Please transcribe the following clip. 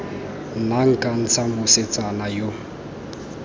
nna nka ntsha mosetsana yo